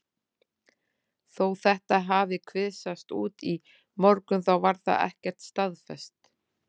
Þó þetta hafi kvisast út í morgun þá var það ekkert staðfest.